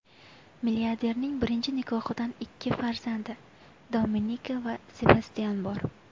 Milliarderning birinchi nikohidan ikki farzandi Dominika va Sebastyan bor.